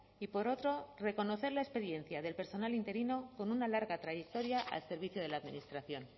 y por otro reconocer la experiencia del personal interino con una larga trayectoria al servicio de la administración